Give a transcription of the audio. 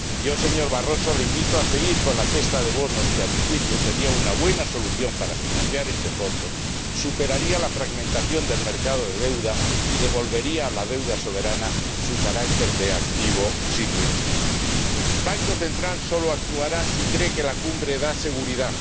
Yo, señor Barroso, le invito a seguir con la cesta de bonos, que, a mi juicio, sería una buena solución para financiar este fondo, superaría la fragmentación del mercado de deuda y devolvería a la deuda soberana su carácter de activo sin riesgo. El Banco Central Europeo solo actuará si cree que la cumbre da seguridad